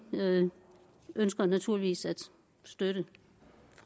ønsker naturligvis at støtte